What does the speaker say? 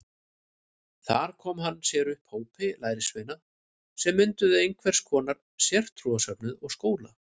Þar kom hann sér upp hópi lærisveina sem mynduðu einhvers konar sértrúarsöfnuð og skóla.